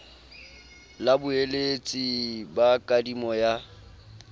la boeletsi ba kadimo ya